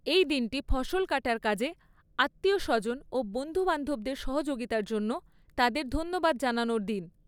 এই দিনটি ফসল কাটার কাজে আত্মীয় স্বজন ও বন্ধুবান্ধবদের সহযোগিতার জন্য, তাদের ধন্যবাদ জানানোর দিন।